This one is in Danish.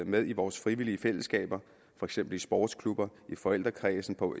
med i vores frivillige fællesskaber for eksempel i sportsklubber i forældrekredsen på